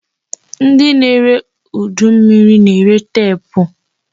Ndị na-ere udu mmiri na-ere teepu.